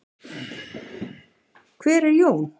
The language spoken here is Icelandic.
Hver er Jón?